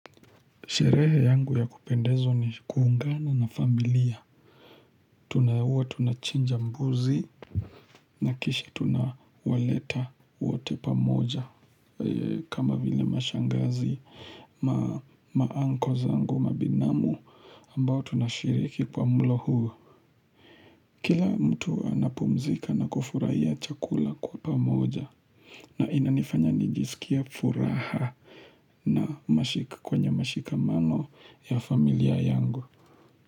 Sherehe yangu ya kupendezwa ni kuungana na familia. Tunahua tunachinja mbuzi na kisha tunawaleta waote pa moja. Kama vile mashangazi maanko zangu mabinamu ambao tunashiriki kwa mlo huo. Kila mtu anapumzika na kufurahia chakula kwa pa moja. Na inanifanya nijiskie furaha na mashik kwenye mashika mano ya familia yangu.